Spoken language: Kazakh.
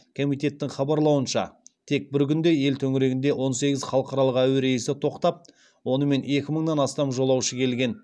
комитеттің хабарлауынша тек бір күнде ел төңірегінде он сегіз халықаралық әуе рейсі тоқтап онымен екі мыңнан астам жолаушы келген